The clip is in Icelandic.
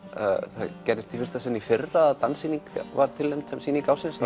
það gerðist í fyrsta sinn í fyrra að danssýning var tilnefnd sem sýning ársins